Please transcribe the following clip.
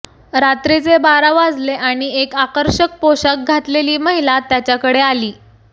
रात्रीचे बारा वाजले आणि एक आकर्षक पोशाख घातलेली महिला त्याचेकडे आली